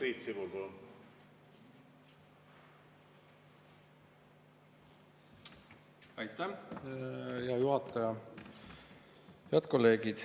Head kolleegid!